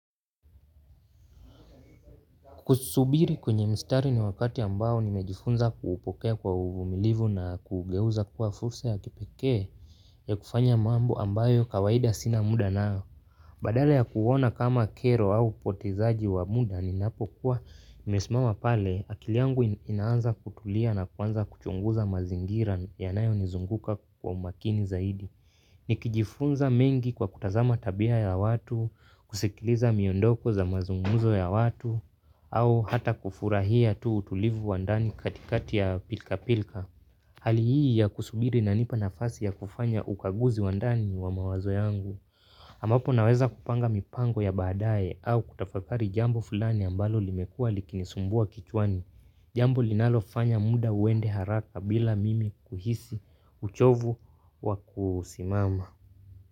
Kusubiri kwenye mstari ni wakati ambao nimejifunza kuupokea kwa uvumilivu na kugeuza kuwa fursa ya kipeke ya kufanya mambo ambayo kawaida sina muda nao. Badala ya kuuona kama kero au upotezaji wa muda ninapo kuwa nimesimama pale akili yangu inaanza kutulia na kuanza kuchunguza mazingira yanayo nizunguka kwa umakini zaidi. Ni kijifunza mengi kwa kutazama tabia ya watu, kusikiliza miondoko za mazungumzo ya watu, au hata kufurahia tu utulivu wa ndani katikati ya pilka pilka. Hali hii ya kusubiri inanipa nafasi ya kufanya ukaguzi wa ndani wa mawazo yangu. Ambapo naweza kupanga mipango ya badaye au kutafakari jambo fulani ambalo limekuwa liki nisumbua kichwani. Jambo linalofanya muda uende haraka bila mimi kuhisi uchovu wa kusimama.